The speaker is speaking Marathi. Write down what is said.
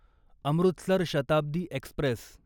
अमृतसर शताब्दी एक्स्प्रेस